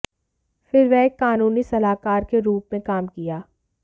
फिर वह एक कानूनी सलाहकार के रूप में काम किया